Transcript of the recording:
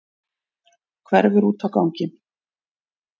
Hverfur út á ganginn.